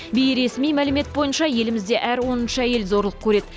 бейресми мәлімет бойынша елімізде әр оныншы әйел зорлық көреді